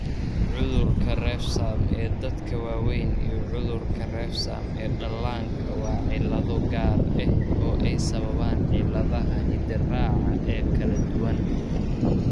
Cudurka Refsum ee dadka waaweyn iyo cudurka refsum ee dhallaanka waa cillado gaar ah oo ay sababaan cilladaha hidde-raaca ee kala duwan.